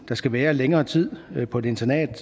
der skal være længere tid på et internat